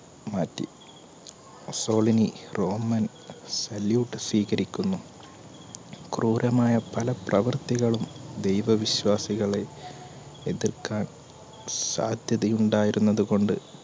മാറ്റി Mussolini roman salute സ്വീകരിക്കുന്നു ക്രൂരമായ പല പ്രവർത്തികളും ദൈവവിശ്വാസികളെ എതിർക്കാൻ സാധ്യത ഉണ്ടായിരുന്നത്കൊണ്ട് പള്ളിയെ